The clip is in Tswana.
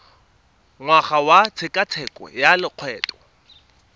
ngwaga wa tshekatsheko ya lokgetho